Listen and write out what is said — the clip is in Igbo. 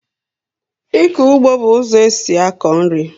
Ịkọ ụgbọ bú ụzọ esị akọ nri